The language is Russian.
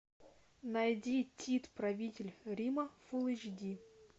найди тит правитель рима фул эйч ди